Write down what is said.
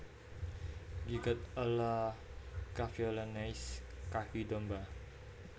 Gigot a la Cavaillonnaise kaki domba